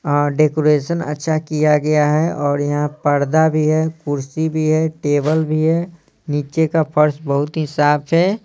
और डेकोरेशन अच्छा किया गया है और यहाँ पर्दा भी है कुर्सी भी है टेबल भी है नीचे का फर्श बहुत ही साफ है ।